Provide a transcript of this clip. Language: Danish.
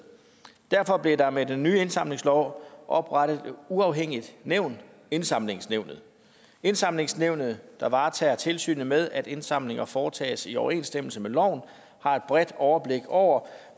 derfor blev der med den nye indsamlingslov oprettet et uafhængigt nævn indsamlingsnævnet indsamlingsnævnet der varetager tilsynet med at indsamlinger foretages i overensstemmelse med loven har et bredt overblik over